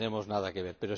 No tenemos nada que ver.